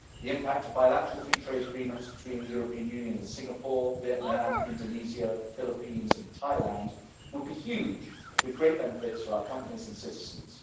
The impact of bilateral free trade agreements between the European Union and Singapore, Vietnam, Indonesia, the Philippines and Thailand would be huge, with great benefits for our companies and citizens.